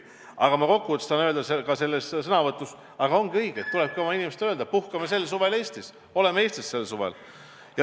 Aga ma kokkuvõttes tahan öelda ka selles sõnavõtus, et ongi õige ja tulebki oma inimestele öelda, et puhkame sel suvel Eestis, oleme Eestis sel suvel.